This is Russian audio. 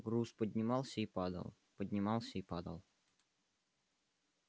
груз поднимался и падал поднимался и падал